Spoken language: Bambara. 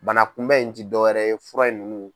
Bana kunbɛn in ti dɔw wɛrɛ ye fura in ninnu.